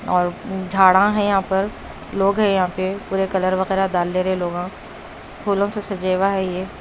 और झाड़ा है यहां पर लोग हैं यहां पे पूरे कलर वगैरा डाले लोगा फूलो से सजेवा है ये--